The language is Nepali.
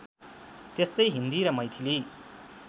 त्यस्तै हिन्दी र मैथिली